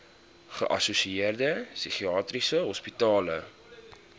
geassosieerde psigiatriese hospitale